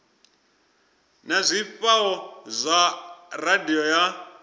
na zwifhao zwa radio ya